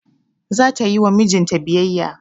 Za ta yi ma mijin ta biyayya.